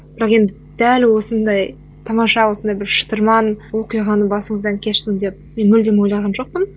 бірақ енді дәл осындай тамаша осындай бір шытырман оқиғаны басыңыздан кешті деп мен мүлдем ойлаған жоқпын